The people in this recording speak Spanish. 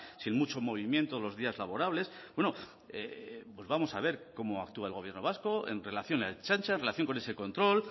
sin mucho movimiento los días laborables bueno pues vamos a ver cómo actúa el gobierno vasco en relación a ertzaintza en relación con ese control